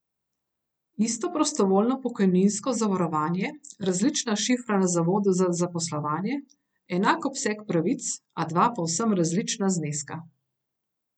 Isto prostovoljno pokojninsko zavarovanje, različna šifra na zavodu za zaposlovanje, enak obseg pravic, a dva povsem različna zneska.